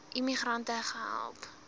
immi grante gehelp